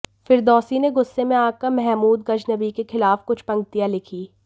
फिरदौसी ने गुस्से में आकर महमूद गज़नबी के खिलाफ़ कुछ पंक्तियां लिखी